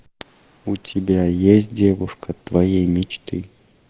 у тебя есть девушка твоей мечты